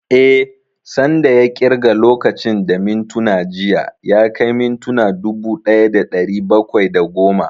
Eh, san da ya ƙirga lokacin da mintuna jiya ya kai mintuna dubu ɗaya da ɗari bakwai da goma